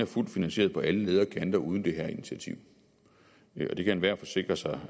fuldt finansieret på alle leder og kanter uden det her initiativ og det kan enhver forsikre sig